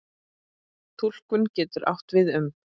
Túlkun getur átt við um